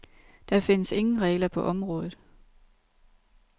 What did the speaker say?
Der findes ingen regler på området.